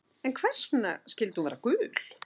En hvers vegna skyldi hún vera gul?